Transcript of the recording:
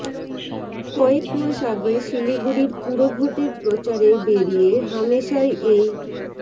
কয়েক মাস আগে শিলিগুড়ির পুরভোটের প্রচারে বেরিয়ে হামেশাই এই